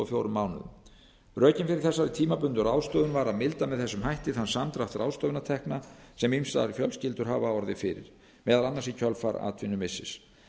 fjórum mánuðum rökin fyrir þessari tímabundnu ráðstöfun var að milda með þessum hætti þann samdrátt ráðstöfunartekna sem ýmsar fjölskyldur hafa orðið fyrir meðal annars í kjölfar atvinnumissis